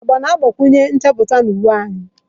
Agba na-agbakwunye nchapụta na uwe anyị.